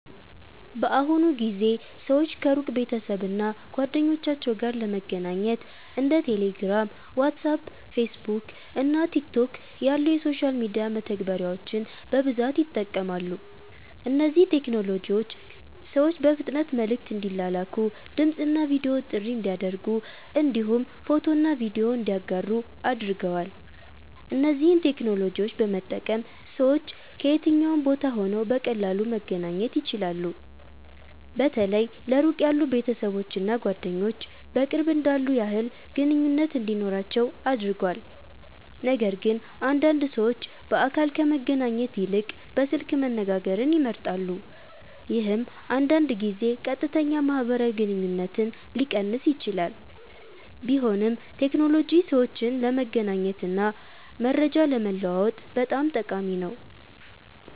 በአሁኑ ጊዜ ሰዎች ከሩቅ ቤተሰብ እና ጓደኞቻቸው ጋር ለመገናኘት እንደ ቴሌግራም፣ ዋትስአፕ፣ ፌስቡክ እና ቲክቶክ ያሉ የሶሻል ሚዲያ መተግበሪያዎችን በብዛት ይጠቀማሉ። እነዚህ ቴክኖሎጂዎች ሰዎች በፍጥነት መልዕክት እንዲላላኩ፣ ድምፅ እና ቪዲዮ ጥሪ እንዲያደርጉ እንዲሁም ፎቶና ቪዲዮ እንዲያጋሩ አድርገዋል። እነዚህን ቴክኖሎጂዎች በመጠቀም ሰዎች ከየትኛውም ቦታ ሆነው በቀላሉ መገናኘት ይችላሉ። በተለይ ለሩቅ ያሉ ቤተሰቦች እና ጓደኞች በቅርብ እንዳሉ ያህል ግንኙነት እንዲኖራቸው አድርጓል። ነገርግን አንዳንድ ሰዎች በአካል ከመገናኘት ይልቅ በስልክ መነጋገርን ይመርጣሉ፣ ይህም አንዳንድ ጊዜ ቀጥተኛ ማህበራዊ ግንኙነትን ሊቀንስ ይችላል። ቢሆንም ቴክኖሎጂ ሰዎችን ለመገናኘት እና መረጃ ለመለዋወጥ በጣም ጠቃሚ ነው።